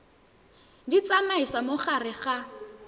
di tsamaisa mo gare ga